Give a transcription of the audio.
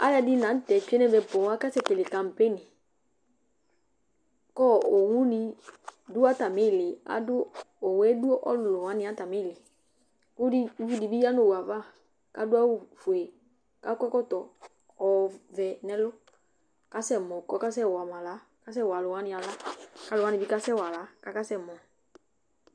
Alʋɛdɩnɩ la nʋ tɛ tsue nʋ ɛmɛ poo, akasɛkele kampeni kʋ ɔ owunɩ dʋ atamɩ ɩɩlɩ adʋ owu yɛ dʋ ɔlʋlʋ wanɩ atamɩ ɩɩlɩ kʋ dɩ uvi dɩ bɩ ya nʋ owu yɛ ava kʋ adʋ awʋfue kʋ akɔ ɛkɔtɔ ɔvɛ nʋ ɛlʋ kʋ asɛmɔ kʋ ɔkasɛwa ma aɣla, ɔkasɛwa alʋ wanɩ aɣla kʋ alʋ wanɩ bɩ kasɛwa aɣla kʋ akasɛmɔ